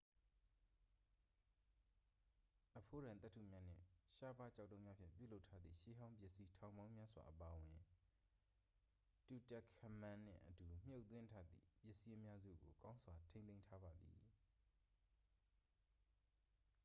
အဖိုးတန်သတ္ထုများနှင့် ရှားပါးကျောက်တုံးများဖြင့် ပြုလုပ်ထားသည့် ရှေးဟောင်းပစ္စည်းထောင်ပေါင်းများစွာ အပါအဝင် tutankhamun နှင့်အတူ မြှုပ်သွင်းထားသည့် ပစ္စည်းအများစုကို ကောင်းစွာ ထိန်းသိမ်းထားပါသည်